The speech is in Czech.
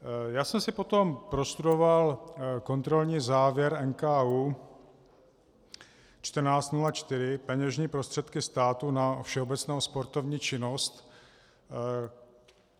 Já jsem si potom prostudoval kontrolní závěr NKÚ 1404 Peněžní prostředky státu na všeobecnou sportovní činnost.